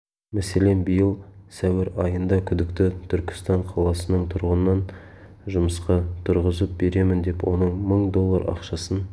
мәселен биыл сәуір айында күдікті түркістан қаласының тұрғынын жұмысқа тұрғызып беремін деп оның мың доллар ақшасын